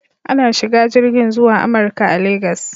Ana shiga jirgin zuwa Amurka a Legas.